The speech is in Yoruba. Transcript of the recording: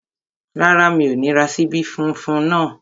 Rárá, mi ò ní ra ṣíbí funfun náà